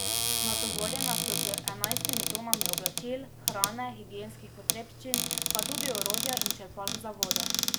Natovorjena sta z enajstimi tonami oblačil, hrane, higienskih potrebščin, pa tudi orodja in črpalk za vodo.